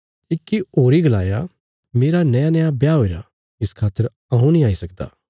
इक्की होरी गलाया मेरा नयानया ब्याह हुईरा इस खातर हऊँ नीं आई सकदा